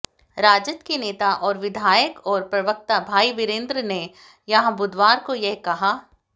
राजद के नेता और विधायक और प्रवक्ता भाई वीरेंद्र ने यहां बुधवार को यह कहा